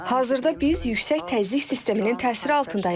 Hazırda biz yüksək təzyiq sisteminin təsiri altındayıq.